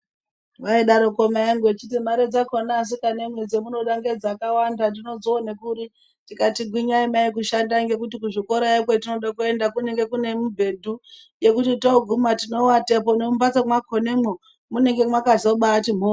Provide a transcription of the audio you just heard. Vaidareko mai vangu vachiti mare dzakona asikanamwi dzamunoda ngedzakawanda ndinodzione kuri. Tikati gwinyai mai kushanda ngekuti kuzvikorayo kwetinode kuenda kunenge kune mibhedhu yekuti toguma tinovatepo nemumbatso mwakonamwo munenge mwakazobati mhoryo.